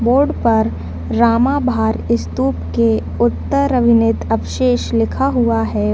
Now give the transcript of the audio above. Board पर Ramabhar stupa के उत्तर अविनेत अवशेष लिखा हुआ है।